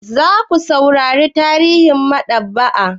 Za ku saurara tarihin maɗaba'a?